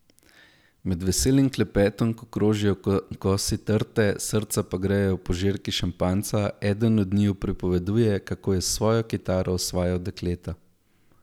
Med veselim klepetom, ko krožijo kosi torte, srca pa grejejo požirki šampanjca, eden od njiju pripoveduje, kako je s svojo kitaro osvajal dekleta.